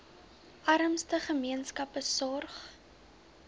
armste gemeenskappe sorg